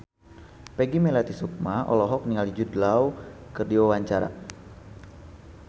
Peggy Melati Sukma olohok ningali Jude Law keur diwawancara